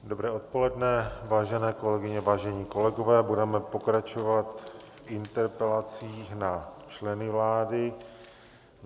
Dobré odpoledne, vážené kolegyně, vážení kolegové, budeme pokračovat interpelacemi na členy vlády.